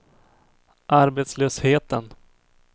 arbetslösheten